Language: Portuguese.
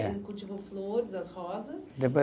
É. Ele cultivou flores, as rosas. Depois